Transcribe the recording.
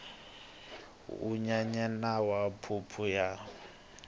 wu nyenyana na phuphu ya